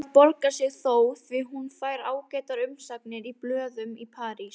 Það borgar sig þó því hún fær ágætar umsagnir í blöðum í París.